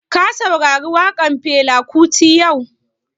Ka saurari waƙan Fela kuti yau?